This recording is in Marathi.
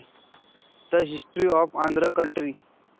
The history of Andhra country.